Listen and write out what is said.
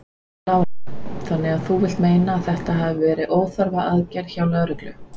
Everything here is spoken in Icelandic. Lára: Þannig að þú vilt meina að þetta hafi verið óþarfa aðgerð hjá lögreglu?